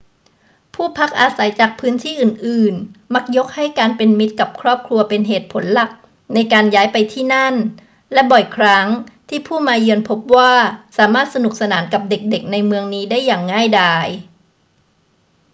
ผู้พักอาศัยจากพื้นที่อื่น ๆ มักยกให้การเป็นมิตรกับครอบครัวเป็นเหตุผลหลักในการย้ายไปที่นั่น และบ่อยครั้งที่ผู้มาเยือนพบว่าสามารถสนุกสนานกับเด็ก ๆ ในเมืองนี้ได้อย่างง่ายดาย